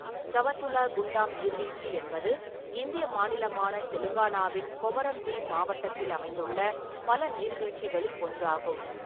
சவத்துலா குண்டாம் நீர்வீழ்ச்சி என்பது இந்திய மாநிலமான தெலுங்கானாவின் கொமரம் பீம் மாவட்டத்தில் அமைந்துள்ள பல நீர்வீழ்ச்சிகளில் ஒன்றாகும்.